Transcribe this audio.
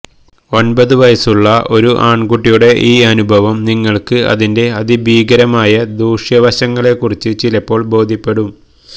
ഒൻപത് വയസ്സുള്ള ഒരു ആൺകുട്ടിയുടെ ഈ അനുഭവം നിങ്ങൾക്ക് അതിന്റെ അതിഭീകരമായ ദൂഷ്യവശങ്ങളെ കുറിച്ച് ചിലപ്പോൾ ബോധ്യപ്പെടും